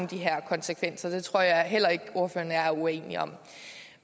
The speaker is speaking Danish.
de her konsekvenser det tror jeg heller ikke og jeg er uenige om